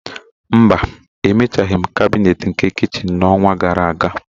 Mba, Emechaghị m kabinet nke kichin n'ọnwa gara aga